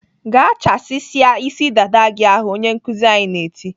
"Gaa chasisia isi dada gị ahụ!" Onye nkuzi anyị na-eti.